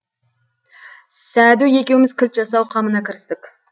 сәду екеуміз кілт жасау қамына кірістік